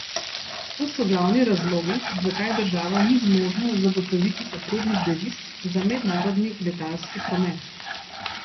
To so glavni razlogi, zakaj država ni zmožna zagotoviti potrebnih deviz za mednarodni letalski promet.